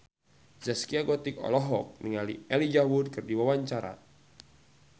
Zaskia Gotik olohok ningali Elijah Wood keur diwawancara